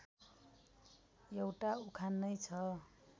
एउटा उखान नै छ